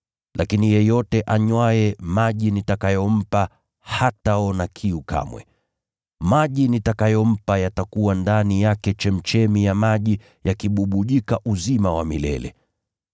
Lakini yeyote anywaye maji nitakayompa hataona kiu kamwe. Maji nitakayompa yatakuwa ndani yake chemchemi ya maji, yakibubujika uzima wa milele.”